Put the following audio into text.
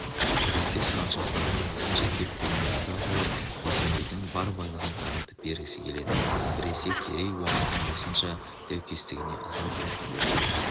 біресе сұраншақтардың осынша кептігіне ыза болып есенейдің бар байлығын таратып бергісі келеді біресе керей-уақтың осынша даукестігіне ыза болып қудырып